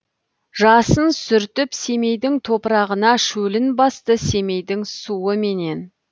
жасын сүртіп семейдің топырағына шөлін басты семейдің суыменен